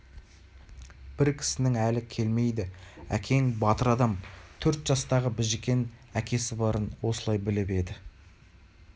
бір кісінің әлі келмейді әкең батыр адам төрт жастағы біжікен әкесі барын осылай біліп еді